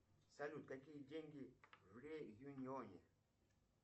салют какие деньги в реюньоне